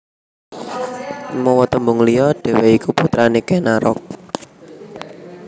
Mawa tembung liya dhèwèké iku putrané Ken Arok